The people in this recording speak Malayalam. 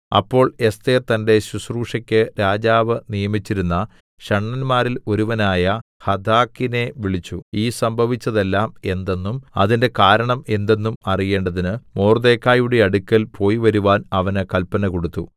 അപ്പോൾ എസ്ഥേർ തന്റെ ശുശ്രൂഷയ്ക്ക് രാജാവ് നിയമിച്ചിരുന്ന ഷണ്ഡന്മാരിൽ ഒരുവനായ ഹഥാക്കിനെ വിളിച്ചു ഈ സംഭവിച്ചതെല്ലാം എന്തെന്നും അതിന്റെ കാരണം എന്തെന്നും അറിയേണ്ടതിന് മൊർദെഖായിയുടെ അടുക്കൽ പോയിവരുവാൻ അവന് കല്പന കൊടുത്തു